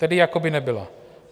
Tedy jako by nebyla.